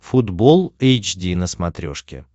футбол эйч ди на смотрешке